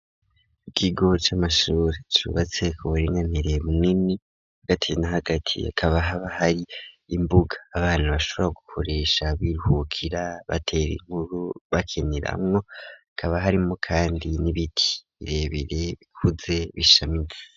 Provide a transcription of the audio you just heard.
Ikigo c'amashure cubatse kuburinganire bunini hagati na hagati hakaba haba hari imbuga abantu bashobora gukoresha biruhukira batere inkuru bakeniramwo kaba harimwo kandi n'ibiti birebere bikuze bishamitsi.